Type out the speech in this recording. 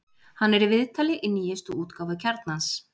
Hann er í viðtali í nýjustu útgáfu Kjarnans.